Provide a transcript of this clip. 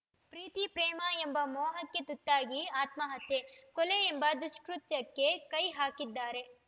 ಪ್ರೀತಿ ಪ್ರೇಮ ಎಂಬ ಮೋಹಕ್ಕೆ ತುತ್ತಾಗಿ ಆತ್ಮಹತ್ಯೆ ಕೊಲೆ ಎಂಬ ದುಷ್ಕೃತ್ಯಕ್ಕೆ ಕೈ ಹಾಕಿದ್ದಾರೆ